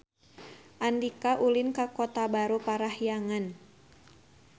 Andika ulin ka Kota Baru Parahyangan